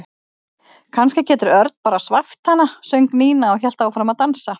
Kannski getur Örn bara svæft hana söng Nína og hélt áfram að dansa.